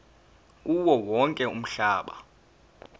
kuwo wonke umhlaba